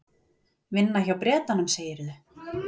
Vinna hjá Bretanum, segirðu?